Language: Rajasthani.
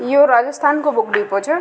यो राजस्थान को बुक डिपो छ।